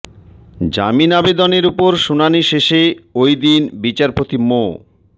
জামিন আবেদনের ওপর শুনানি শেষে ওই দিন বিচারপতি মো